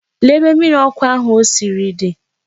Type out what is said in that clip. Lee ebe mmiri ọkụ ahụ o siri di!